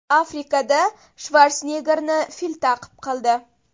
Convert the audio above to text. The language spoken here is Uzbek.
Afrikada Shvarseneggerni fil ta’qib qildi.